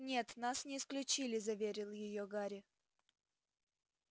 нет нас не исключили заверил её гарри